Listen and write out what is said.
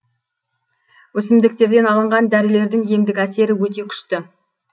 өсімдіктерден алынған дәрілердің емдік әсері өте күшті